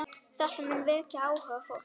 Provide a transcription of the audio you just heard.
Þetta mun vekja áhuga fólks.